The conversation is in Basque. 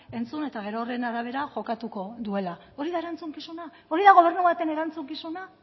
entzun eta gero horren arabera jokatuko duela hori da erantzukizuna hori da gobernu baten erantzukizuna